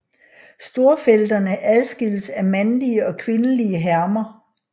Storfelterne adskilles af mandlige og kvindelige hermer